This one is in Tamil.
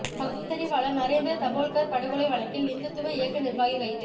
பகுத்தறிவாளர் நரேந்திர தபோல்கர் படுகொலை வழக்கில் இந்துத்துவா இயக்க நிர்வாகி கைது